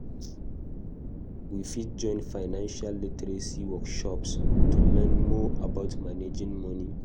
We fit join financial literacy workshops to learn more about managing money.